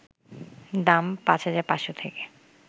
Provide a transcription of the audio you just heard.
দাম: ৫,৫০০ থেকে